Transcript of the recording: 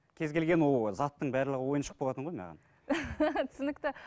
кез келген ол заттың барлығы ойыншық болатын ғой маған түсінікті